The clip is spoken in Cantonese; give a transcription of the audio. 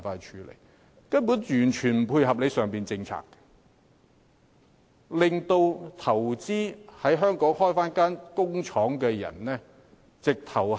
這根本完全不配合政府的政策，令打算在港投資設廠的人卻步。